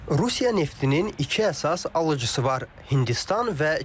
Rusiya neftinin iki əsas alıcısı var: Hindistan və Çin.